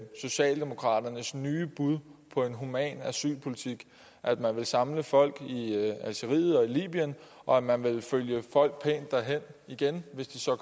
socialdemokraternes nye bud på en human asylpolitik at man ville samle folk i algeriet og libyen og at man ville følge folk pænt derhen igen hvis de så